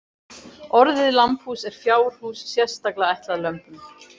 Orðið lambhús er fjárhús sérstaklega ætlað lömbum.